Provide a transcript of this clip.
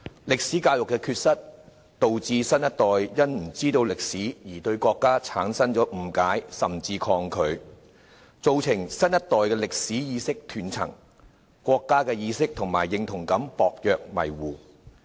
歷史教育的缺失，導致新一代對歷史不了解，因而對國家產生誤解，甚至抗拒，造成新一代的歷史意識斷層，國家意識及認同感薄弱模糊。